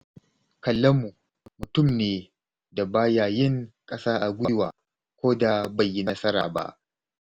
Kallamu mutum ne da ba ya yin ƙasa a gwiwa ko da bai yi nasara ba.